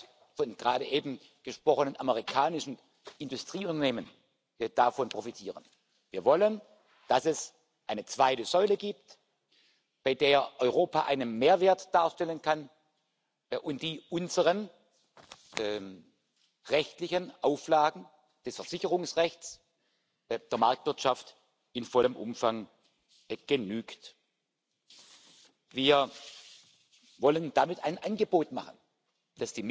opportunity policies targeted at women and men of working age, inter alia through promoting the work life balance and equal distributions of caring responsibilities and addressing labour market participation and career opportunities, work intensity and career breaks. Last but not least, this debate closely ties in with discussions on the future of work. An increasing number of people do not work in regular full time employment any more. We must make sure that our social security systems,